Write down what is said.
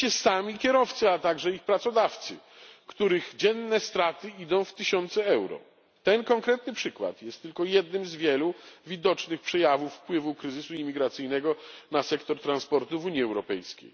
Oczywiście sami kierowcy, a także ich pracodawcy, których dzienne straty idą w tysiące euro. Ten konkretny przykład jest tylko jednym z wielu widocznych przejawów wpływu kryzysu imigracyjnego na sektor transportu w Unii Europejskiej.